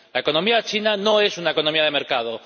La economía china no es una economía de mercado.